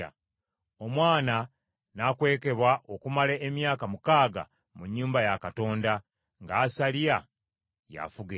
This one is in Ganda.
Omwana n’akwekebwa okumala emyaka mukaaga mu nnyumba ya Katonda, nga Asaliya y’afuga ensi.